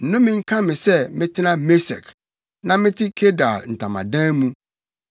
Nnome nka me sɛ metena Mesek, na mete Kedar ntamadan mu!